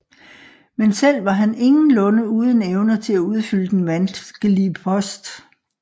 Men selv var han ingenlunde uden evner til at udfylde den vanskelige post